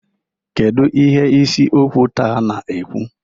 Kedu ihe isi okwu taa na-ekwu?